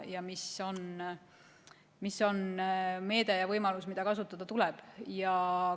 See on meede ja võimalus, mida tuleb kasutada.